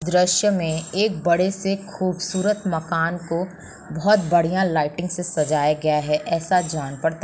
द्रुश्य में एक बड़ेसे खूबसूरत मकान को बोहत बढ़िया लाइटिंग से सजाया गया है ऐसा जान पड़ता--